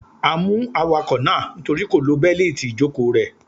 A mú awakọ̀ náà nítorí kò lo Bẹ́líìti ìjòkóo rè